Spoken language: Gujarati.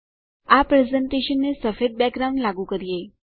આ પ્રેઝેંટેશનને સફેદ બેકગ્રાઉન્ડ લાગુ કરીએ